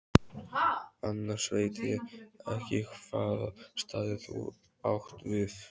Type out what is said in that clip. Annars veit ég ekki hvaða staði þú átt við.